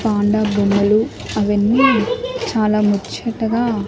Panda బొమ్మలు అవన్నీ చాలా ముచ్చటగా.